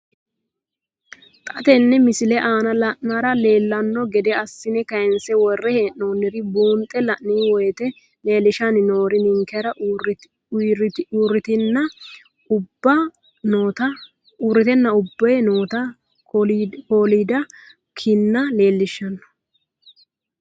Xa tenne missile aana la'nara leellanno gede assine kayiinse worre hee'noonniri buunxe la'nanni woyiite leellishshanni noori ninkera uurritenna ubbe noota kolidda kinna leellishshanno.